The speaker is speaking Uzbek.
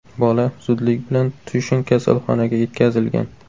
Bola zudlik bilan Tushin kasalxonaga yetkazilgan.